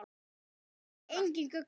Sá vildi engin gögn sjá.